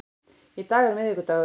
Í dag er miðvikudagur.